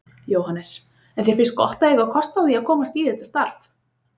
Jóhannes: En þér finnst gott að eiga kost á því að komast í þetta starf?